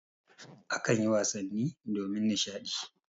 A kanyi wasanni domin nishaɗi.